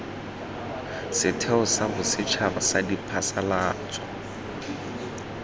setheo sa bosetšhaba sa diphasalatso